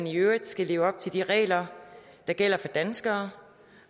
i øvrigt skal leve op til de regler der gælder for danskere